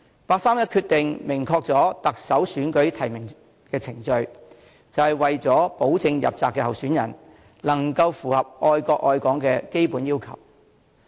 八三一決定明確了特首選舉的提名程序，就是為了保證入閘的候選人能夠符合"愛國愛港"的基本要求。